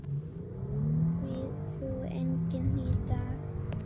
Því trúir enginn í dag.